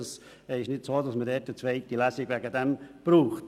Es ist nicht so, dass man deswegen eine zweite Lesung braucht.